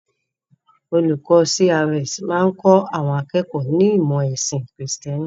Olùkọ́ CRS máa kọ́ àwọn akẹ́kọ̀ọ́ ní ìmọ̀ ẹ̀sìn kìrìtẹ́nì.